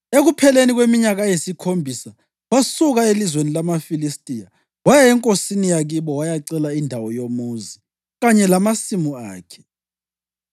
Ekupheleni kweminyaka eyisikhombisa wasuka elizweni lamaFilistiya waya enkosini yakibo wayacela indawo yomuzi kanye lamasimu akhe.